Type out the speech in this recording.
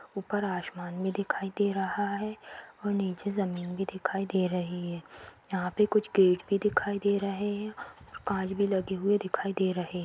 ऊपर आश्मान भी दिखाई दे रहा है और नीचे जमीन भी दिखाई दे रही है यहाँ पे कुछ गेट भी दिखाई दे रहे हैं कांच भी लगे हुए दिखाई दे रहे हैं।